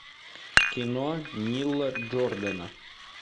кино нила джордана